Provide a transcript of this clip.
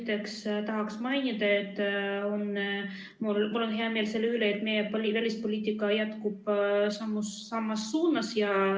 Esiteks tahaks mainida, et mul on hea meel selle üle, et meie välispoliitika jätkub samas suunas.